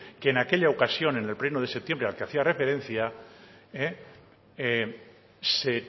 que en aquella ocasión en el pleno de septiembre al que hacía referencia se